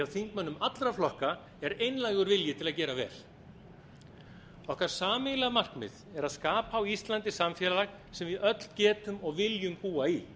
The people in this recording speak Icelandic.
þingmönnum allra flokka er einlægur vilji til að gera vel okkar sameiginlega markmið er að skapa á íslandi samfélag sem við öll getum og viljum búa í